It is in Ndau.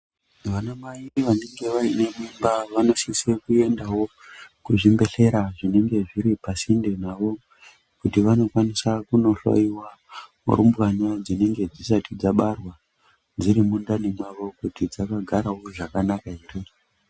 Vanamai vanenge vaine mimba vanosise kuendawo kuzvimbehlera zvinenge zviri pasinde navo kuti vanokwanisa kunohloyiwa rumbwana dzinenge dzisati dzabarwa dziri mundani mwavo kuti dzakagarawo zvakanaka here.